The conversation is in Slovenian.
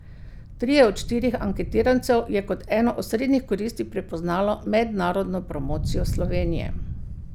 Trije od štirih anketirancev je kot eno osrednjih koristi prepoznalo mednarodno promocijo Slovenije.